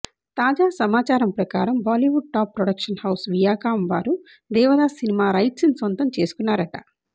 తాజా సమాచారం ప్రకారం Bollywood top production house Viacom వారు దేవదాస్ సినిమా రైట్స్ ని సొంతం చేసుకున్నారట